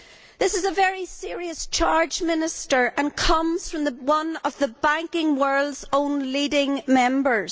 This is a very serious charge, Minister, and comes from one of the banking world's own leading members.